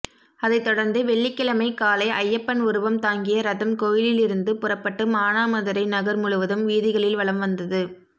அதைத்தொடா்ந்து வெள்ளிக்கிழமை காலை ஐயப்பன் உருவம் தாங்கிய ரதம் கோயிலிலிருந்து புறப்பட்டு மானாமதுரை நகா் முழுவதும் வீதிகளில் வலம் வந்தது